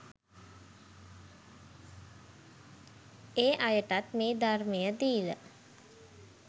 ඒ අයටත් මේ ධර්මය දීල